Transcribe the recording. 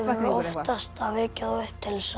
oftast að vekja þá upp til